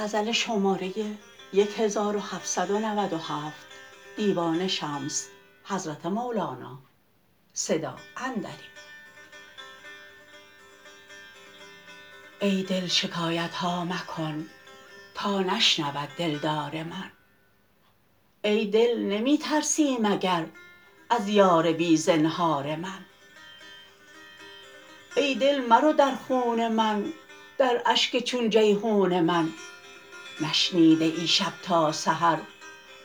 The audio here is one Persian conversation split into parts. ای دل شکایت ها مکن تا نشنود دلدار من ای دل نمی ترسی مگر از یار بی زنهار من ای دل مرو در خون من در اشک چون جیحون من نشنیده ای شب تا سحر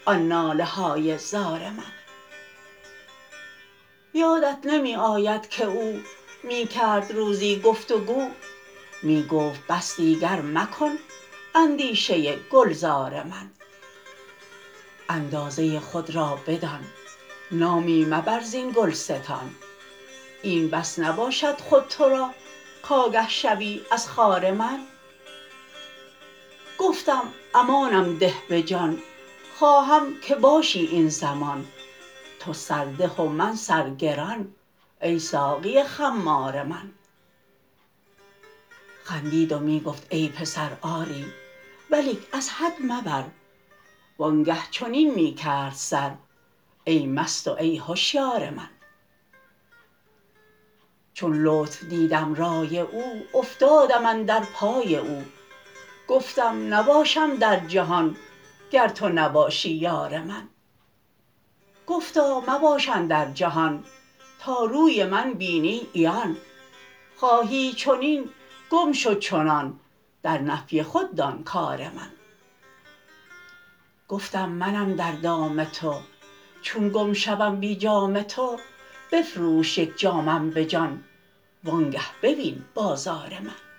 آن ناله های زار من یادت نمی آید که او می کرد روزی گفت گو می گفت بس دیگر مکن اندیشه گلزار من اندازه خود را بدان نامی مبر زین گلستان این بس نباشد خود تو را کآگه شوی از خار من گفتم امانم ده به جان خواهم که باشی این زمان تو سرده و من سرگران ای ساقی خمار من خندید و می گفت ای پسر آری ولیک از حد مبر وانگه چنین می کرد سر کای مست و ای هشیار من چون لطف دیدم رای او افتادم اندر پای او گفتم نباشم در جهان گر تو نباشی یار من گفتا مباش اندر جهان تا روی من بینی عیان خواهی چنین گم شو چنان در نفی خود دان کار من گفتم منم در دام تو چون گم شوم بی جام تو بفروش یک جامم به جان وانگه ببین بازار من